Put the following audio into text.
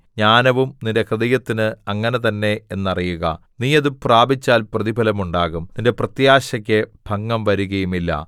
ജ്ഞാനവും നിന്റെ ഹൃദയത്തിന് അങ്ങനെ തന്നെ എന്നറിയുക നീ അത് പ്രാപിച്ചാൽ പ്രതിഫലം ഉണ്ടാകും നിന്റെ പ്രത്യാശക്ക് ഭംഗം വരികയുമില്ല